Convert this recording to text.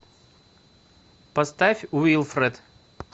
поставь уилфред